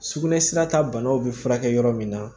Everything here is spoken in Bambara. Sugunɛsira ta banaw bɛ furakɛ yɔrɔ min na